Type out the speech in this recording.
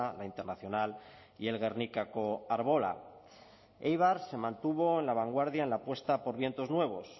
la internacional y el gernikako arbola éibar se mantuvo en la vanguardia en la apuesta por vientos nuevos